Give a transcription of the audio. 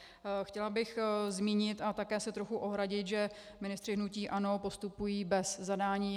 Chtěla bych zmínit a také se trochu ohradit, že ministři hnutí ANO postupují bez zadání.